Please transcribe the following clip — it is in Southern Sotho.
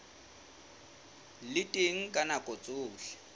le teng ka nako tsohle